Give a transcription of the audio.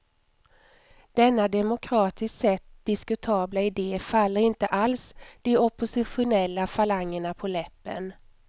Denna demokratiskt sett diskutabla idé faller inte alls de oppositionella falangerna på läppen.